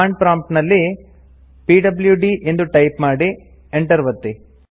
command prompt ಅಲ್ಲಿ PWD ಎಂದು type ಮಾಡಿ Enter ಒತ್ತಿ